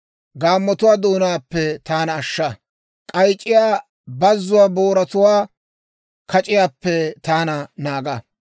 Gaammotuwaa doonaappe taana ashsha; k'ayc'c'iyaa bazzuwaa booratuwaa kac'iyaappe taana naaga.